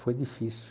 Foi difícil.